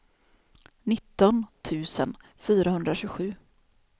nitton tusen fyrahundratjugosju